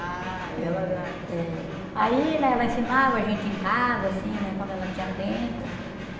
Ah ela já... É. Aí, né, ela ensinava a gente em casa, assim, né, quando ela tinha tempo.